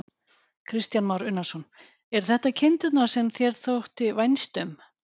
Kristján Már Unnarsson: Eru þetta kindurnar sem þér þótti vænst um?